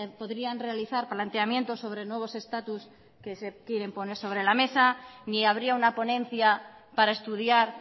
podrían realizar planteamientos sobre nuevos estatus que se quieren poner sobre la mesa ni habría una ponencia para estudiar